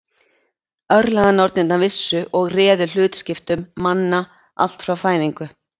Örlaganornirnar vissu og réðu hlutskiptum manna allt frá fæðingu.